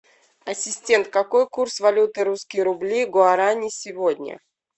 ассистент какой курс валюты русские рубли гуарани сегодня